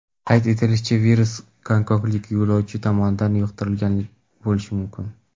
Qayd etilishicha, virus gonkonglik yo‘lovchi tomonidan yuqtirilgan bo‘lishi mumkin.